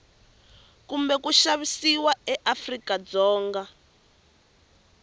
kumbe ku xavisiwa eafrika dzonga